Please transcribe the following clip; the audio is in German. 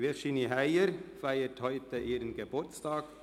Grossrätin Virginie Heyer feiert heute ihren Geburtstag.